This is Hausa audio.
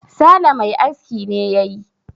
sale Mai aski ne ya yi